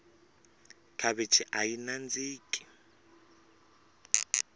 khavichi ayi nandziki